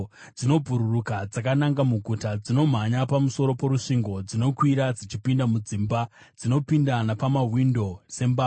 Dzinobhururuka dzakananga muguta; dzinomhanya pamusoro porusvingo. Dzinokwira dzichipinda mudzimba; dzinopinda napamawindo sembavha.